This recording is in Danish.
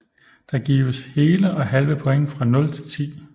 Der gives hele og halve point fra 0 til 10